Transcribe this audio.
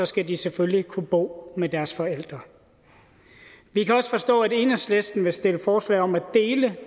skal de selvfølgelig kunne bo med deres forældre vi kan også forstå at enhedslisten vil stille forslag om at dele